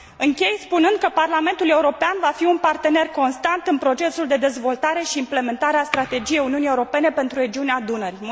Închei spunând că Parlamentul European va fi un partener constant în procesul de dezvoltare și implementare a strategiei Uniunii Europene pentru regiunea Dunării